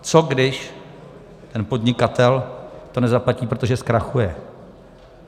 Co když ten podnikatel to nezaplatí, protože zkrachuje?